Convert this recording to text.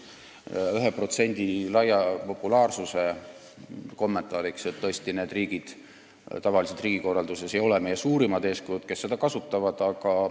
Selle 1% laia populaarsuse kommentaariks, et need riigid, kes seda kasutavad, ei ole tavaliselt riigikorralduses meie suurimad eeskujud.